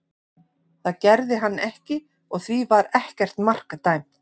Það gerði hann ekki og því var ekkert mark dæmt.